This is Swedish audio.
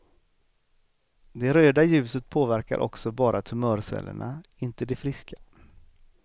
Det röda ljuset påverkar också bara tumörcellerna, inte de friska.